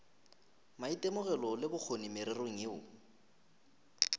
maitemogelo le bokgoni mererong yeo